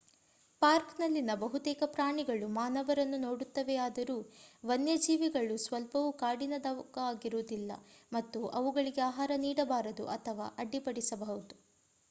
ಪಾರ್ಕ್‌ನಲ್ಲಿನ ಬಹುತೇಕ ಪ್ರಾಣಿಗಳು ಮಾನವರನ್ನು ನೋಡುತ್ತವೆಯಾದರೂ ವನ್ಯಜೀವಿಗಳು ಸ್ವಲ್ಪವೂ ಕಾಡಿನದಾಗಿರುವುದಿಲ್ಲ ಮತ್ತು ಅವುಗಳಿಗೆ ಆಹಾರ ನೀಡಬಾರದು ಅಥವಾ ಅಡ್ಡಿಪಡಿಸಬಾರದು